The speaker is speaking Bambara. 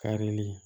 Karili